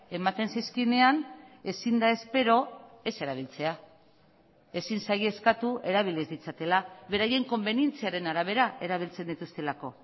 ematen zizkienean ezin da espero ez erabiltzea ezin zaie eskatu erabili ez ditzatela beraien konbenientziaren arabera erabiltzen dituztelako